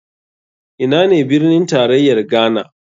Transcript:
Ina ne birnin tarayar ghana?